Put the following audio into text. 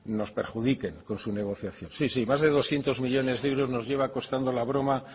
nos perjudique con su negociación sí sí más de doscientos millónes de euros nos lleva costando la broma